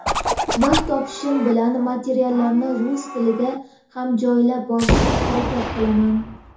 vaqt topishim bilan materiallarni rus tilida ham joylab borishga harakat qilaman.